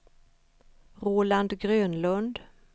Roland Grönlund